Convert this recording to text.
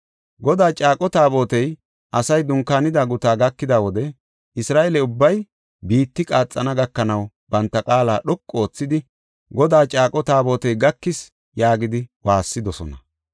Godaa Caaqo Taabotey asay dunkaanida gutaa gakida wode Isra7eele ubbay biitti qaaxana gakanaw banta qaala dhoqu oothidi, “Godaa Caaqo Taabotey gakis” yaagidi waassidosona.